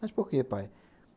Mas por quê, pai?